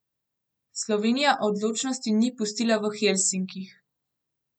Slovenija odločnosti ni pustila v Helsinkih.